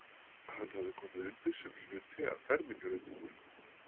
Hann hafði komið undir sem hluti af fermingarundirbúningnum.